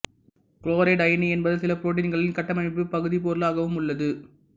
chloride அயனி என்பது சில புரோட்டீன்களின் கட்டமைப்புப் பகுதிப்பொருளாகவும் உள்ளது